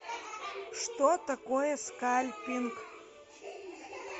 что такое скальпинг